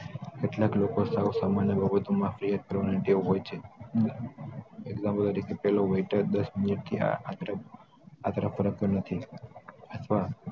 કેટલાક લોકો સાવ સામાન્ય બાબતો માં ફરિયાદ કરવાની ટેવ હોય છે પેલો આટલે ફરકતો પણ નથી